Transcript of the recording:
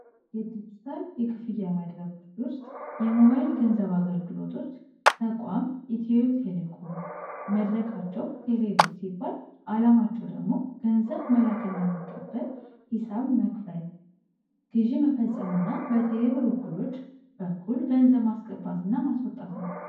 የዲጂታል የክፍያ መድረኮች ውስጥ የሞባይል ገንዘብ አገልግሎቶች አ ሌኮም መድረካቸው ቴሌቨዥን አላማቸው ደግሞ ገንዘብ መላክ እና መቀበል ሂሳብ መክፈል ግዥ መፈፀምና በቴሌ ውክሎች በኩል ገንዘብ ማስገባት እና ማስወጣት ነው